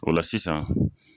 O la sisan